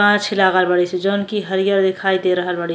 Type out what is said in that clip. गाँछ लागल बड़ी सन जोन कि हरियर दिखयी दे रहल बाड़ी।